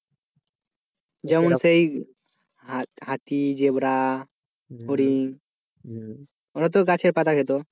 যেমন সেই হাতি জেব্রা হরিণ ওগুলোতো গাছের পাতা খেত